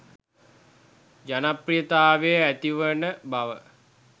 ජනප්‍රියතාවය ඇතිවෙන බව.